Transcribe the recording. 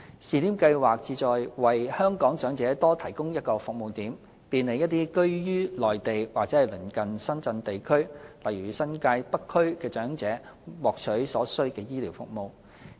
試點計劃旨在為香港長者多提供一個服務點，便利一些居於內地或鄰近深圳地區——例如新界北區——的長者獲取所需的醫療服務。